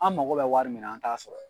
An mago bɛ wari min na an t'a sɔrɔ